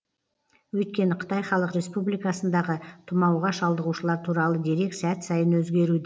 өйткені қытай халық республикасындағы тұмауға шалдығушылар туралы дерек сәт сайын өзгеруд